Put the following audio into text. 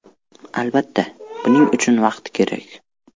Albatta, buning uchun vaqt kerak.